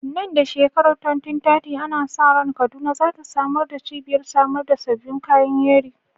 Nan da shekarar 2030, ana sa ran Kaduna za ta zama cibiyar samar da sabbin kayan yeri.